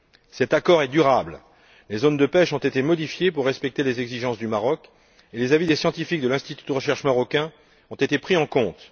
Cet accord est durable, les zones de pêche ont été modifiées pour respecter les exigences du Maroc et les avis des scientifiques de l'institut de recherche marocain ont été pris en compte.